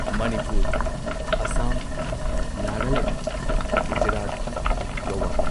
Manipur Assam Nagaland Gujarat Goa